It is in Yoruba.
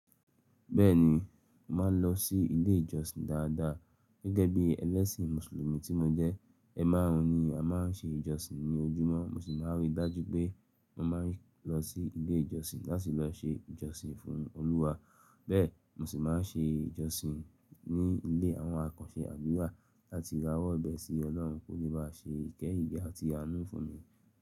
Bẹ́ẹ̀ni, mò ń lọ sí ilé ìjọsìn dáadáa. Gẹ́gẹ́ bí ẹlẹ́sìn Mùsùlùmí tí mo jẹ́, ẹ márùn-ún ni a máa ń ṣe ìjọsìn ní ojúmọ́. Mo sì máa ń rí i dájú pé mo máa ń lọ sí ilé ìjọsìn láti lọ ṣe ìjọsìn fún Olúwa. Bẹ́ẹ̀ mo sì máa ń ṣe ìjọsìn ní ilé àwọn àkànṣe àdúrà láti rà wọ́ bẹ́ẹ̀ sí Ọlọ́run kó lè bá ṣe ìkẹ́yìn àti àánú fún mi.